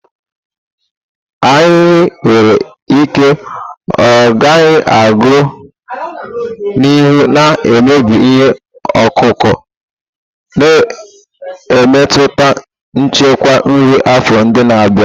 Ahịhịa nwere ike ọ gaghị aga n'ihu na-emebi ihe ọkụkụ, na-emetụta nchekwa nri afọ ndị na-abịa.